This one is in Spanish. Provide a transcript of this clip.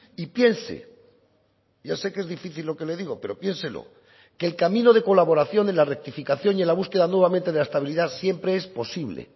y piense ya sé que es difícil lo que le digo pero piénselo que el camino de colaboración de la rectificación y en la búsqueda nuevamente de la estabilidad siempre es posible